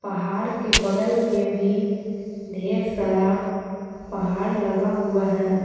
पहाड़ के बगल में भी ढेर सारा पहाड़ लगा हुआ है।